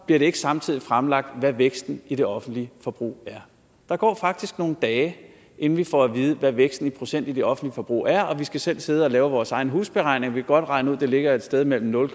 bliver det ikke samtidig fremlagt hvad væksten i det offentlige forbrug er der går faktisk nogle dage inden vi får at vide hvad væksten i procent i det offentlige forbrug er og vi skal selv sidde og lave vores egen husberegning vi kan godt regne ud det ligger et sted mellem nul